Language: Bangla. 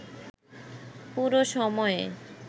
পুরো সময়ে